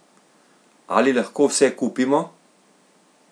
Ali lahko vse kupimo?